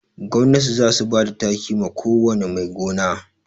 Gwamnati za su bada taki ma ko wane mai gona